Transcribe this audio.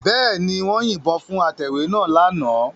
Bẹ́ẹ̀ ni, wọ́n yìnbọn fún atẹ̀wé náà lánàá